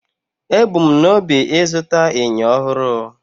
Ebu m n'obi ịzụta enyo ọhụrụ